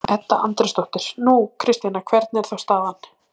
Edda Andrésdóttir: Nú, Kristjana, hvernig er þá staðan?